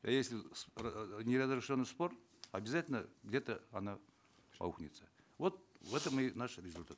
а если неразрешенный спор обязательно где то оно аукнется вот в этом и наш результат